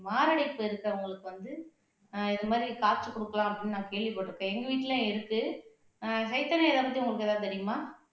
மாரடைப்பு இருக்கிறவங்களுக்கு வந்து அஹ் இது மாதிரி காய்ச்சி கொடுக்கலாம் அப்படின்னு நான் கேள்விப்பட்டிருப்பேன் எங்க வீட்லயும் இருக்கு அஹ் சைதன்யா இத பத்தி உங்களுக்கு ஏதாவது தெரியுமா